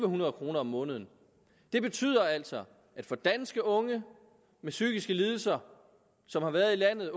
hundrede kroner om måneden det betyder altså at for danske unge med psykiske lidelser som har været i landet